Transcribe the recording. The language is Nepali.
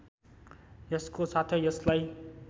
यसको साथै यसलाई